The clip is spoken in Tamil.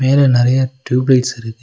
மேல நறையா ட்யூப் லைட்ஸ் இருக்கு.